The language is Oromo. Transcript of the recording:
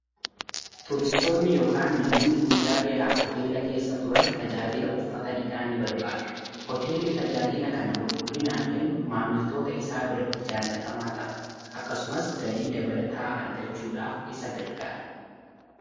tuuristoonni yookaan namoonni guyyaa dheeraaf hoteela keessa turaan tajaajila uffaata dhiqaa nii barbaadu hoteelli tajaajiila kanaa qulqullinaan kan maammiltoota isaa biraatti jaallatamaa ta'a akkasumas galii dabalataa argachuudhaaf isa gargaara